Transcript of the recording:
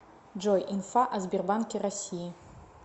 джой инфа о сбербанке россии